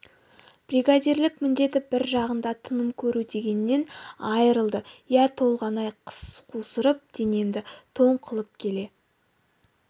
бригадирлік міндеті бір жағында тыным көру дегеннен айырылды иә толғанай қыс қусырып денемді тоң қылып келе